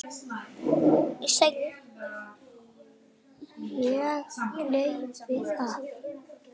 Og gleypir það.